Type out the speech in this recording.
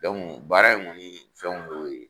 baara in kɔni fɛn y'o ye.